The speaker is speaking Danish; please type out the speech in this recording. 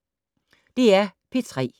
DR P3